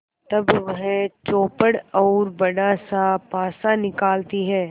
तब वह चौपड़ और बड़ासा पासा निकालती है